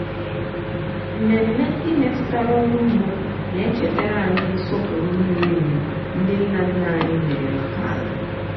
mmemme ndị metụtara ọrụ ugbo na-echetara anyị nsọpụrụ miri emi ndị nna nna anyị nwere maka ala.